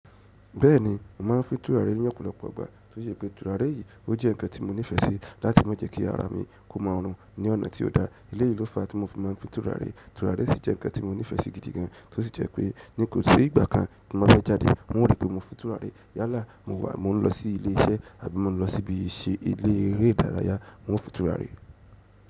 Bẹ́ẹ̀ni, mò máa ń fín tùràré ní ọ̀pọ̀lọpọ̀ ìgbà, tó sì ṣe pé tùràré yìí ó jẹ́ ǹkan tí mo nífẹ́ sí láti má jẹ́ kí ara mi kó máa rùn ní ọ̀nà tí ó dá. Eléyìí ló fa tí mo fi máa ń fín tùràré. Tùràré sì jẹ́ ǹkan tí mo nífẹ́ sí gidi gan, tó sì jẹ́ pé n kòsí ìgbà kan tí mo fẹ́ jáde, ń ó ripé mò ń fín tùràrí. Yálà mo wà, mò n lọ sí ilé iṣẹ́ àbí mò ń lọ síbi ìṣe ilé eré ìdárayá, ń ó fín ttùràré.